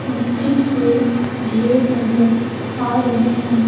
मिट्टी के ढेर नजर आ रहे हैं।